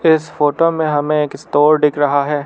इस फोटो में हमें एक स्टोर दिख रहा है।